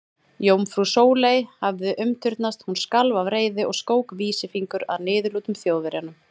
Jómfrú Sóley hafði umturnast, hún skalf af reiði og skók vísifingur að niðurlútum Þjóðverjanum.